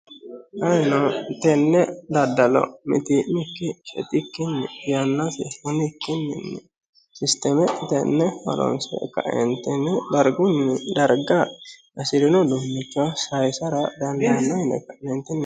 Ayinno tenne daddalo mittimikkin shettikkini yannasi hunikkinin systeme tene horonisire kaenitinni dariggu dargga hasirinno uddunicho saayisata daniddano yine ka'netinni